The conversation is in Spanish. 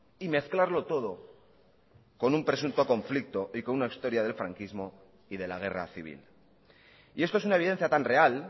y mezclarlo todo con un presunto conflicto y con una historia del franquismo y de la guerra civil y esto es una evidencia tan real